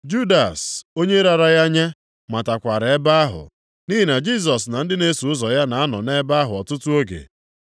Judas, onye rara ya nye matakwara ebe ahụ. Nʼihi na Jisọs na ndị na-eso ụzọ ya na-anọ nʼebe ahụ ọtụtụ oge.